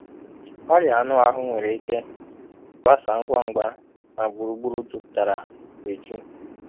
Ọrịa anụahụ nwere ike gbasaa ngwa ngwa n'gburugburu juputara eju.